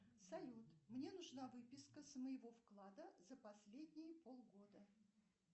салют мне нужна выписка с моего вклада за последние полгода